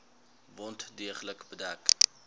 wond deeglik bedek